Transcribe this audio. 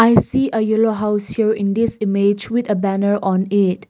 i see a yellow house here in this image with a banner on it.